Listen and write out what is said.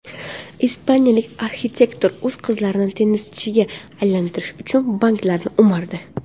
Ispaniyalik arxitektor o‘z qizlarini tennischiga aylantirish uchun banklarni o‘mardi.